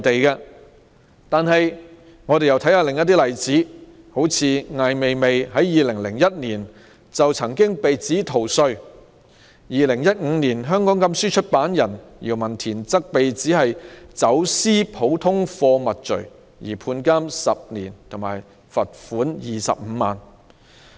讓我們看看另一些例子，艾未未在2001年被指逃稅被罰款25萬元、2015年香港禁書出版人姚文田被指"走私普通貨物罪"被判監10年。